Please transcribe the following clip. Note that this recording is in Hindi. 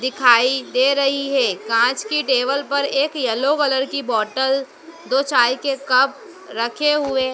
दिखाई दे रही है कांच की टेबल पर एक येलो कलर की बॉटल दो चाय के कप रखे हुए--